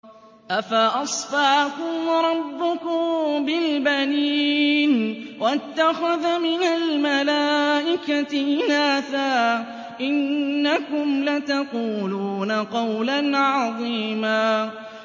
أَفَأَصْفَاكُمْ رَبُّكُم بِالْبَنِينَ وَاتَّخَذَ مِنَ الْمَلَائِكَةِ إِنَاثًا ۚ إِنَّكُمْ لَتَقُولُونَ قَوْلًا عَظِيمًا